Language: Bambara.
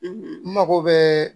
N mago bɛ